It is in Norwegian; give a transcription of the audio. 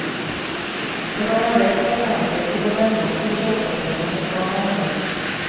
Det kan være ett alternativ til å demme opp for kjøpepresset mot barn og ungdom.